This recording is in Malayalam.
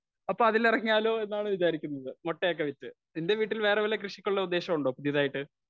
സ്പീക്കർ 1 അപ്പോ അതിലിറങ്ങിയാലൊന്നാണ് വിചാരിക്കുന്നത്. മുട്ടയൊക്കെ വിറ്റു നിന്റെ വീട്ടിൽ വേറെ വല്ല കൃഷിക്കുള്ള ഉദ്ദേശവുമുണ്ടോ പുതിയതായിട്ട്.